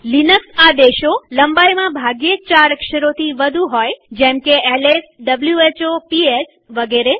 Linux આદેશો લંબાઈમાં ભાગ્યે જ ચાર અક્ષરોથી વધુ હોય જેમકે lswhoપીએસ વગેરે